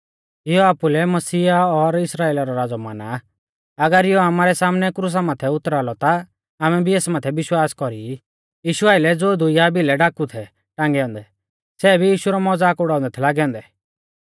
इयौ आपुलै मसीह और इस्राइला रौ राज़ौ माना आ अगर इयौ आमारै सामनै क्रुसा कु उतरा लौ ता आमै भी एस माथै विश्वास कौरी ई यीशु आइलै ज़ो दुइया भिलै डाकु थै टांगै औन्दै सै भी यीशु रौ मज़ाक उड़ाउंदै थै लागै औन्दै